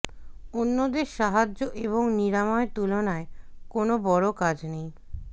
অন্যদের সাহায্য এবং নিরাময় তুলনায় কোন বড় কাজ নেই